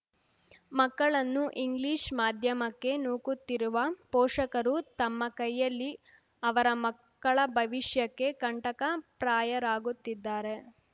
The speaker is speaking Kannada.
ಮಕ್ಕಳನ್ನು ಇಂಗ್ಲಿಷ್‌ ಮಾಧ್ಯಮಕ್ಕೆ ನೂಕುತ್ತಿರುವ ಪೋಷಕರು ತಮ್ಮ ಕೈಯಲ್ಲಿ ಅವರ ಮಕ್ಕಳ ಭವಿಷ್ಯಕ್ಕೆ ಕಂಟಕ ಪ್ರಾಯರಾಗುತ್ತಿದ್ದಾರೆ